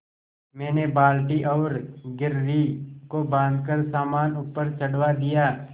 मैंने बाल्टी और घिर्री को बाँधकर सामान ऊपर चढ़वा दिया